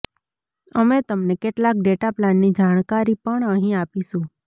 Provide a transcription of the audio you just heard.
અમે તમને કેટલાક ડેટા પ્લાનની જાણકારી પણ અહીં આપીશુ